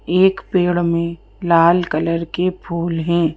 एक पेड़ में लाल कलर के फूल हैं।